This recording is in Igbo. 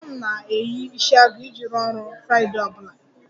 Papa m na-eyi isiagu iji rụọ ọrụ friday ọ bụla